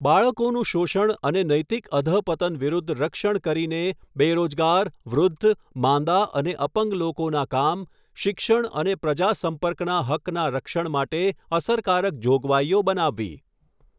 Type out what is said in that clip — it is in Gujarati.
બાળકોનું શોષણ અને નૈતિક અધઃપતન વિરુદ્ધ રક્ષણ કરીને બેરોજગાર, વૃધ્ધ ,માંદા અને અપંગ લોકોના કામ શિક્ષણ અને પ્રજા સંપર્કના હક્કના રક્ષણ માટે અસરકારક જોગવાઈઓ બનાવવી.